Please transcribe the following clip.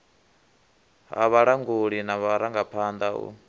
ha vhalanguli na vharangaphanḓa u